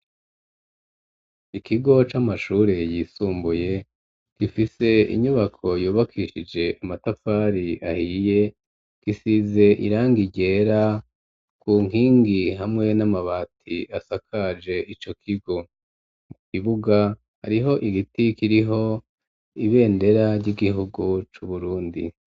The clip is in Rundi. Ikigo c'amashure yisumbuye gifise inyubako yubakishije amatafari ahiye gisize irangi ryera ku nkingi hamwe n'amabati asakaje ico kigo, ikibuga hariho igiti kiriho ibendera ry'igihugu cu Burundi.